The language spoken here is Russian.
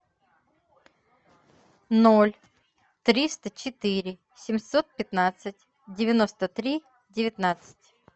ноль триста четыре семьсот пятнадцать девяносто три девятнадцать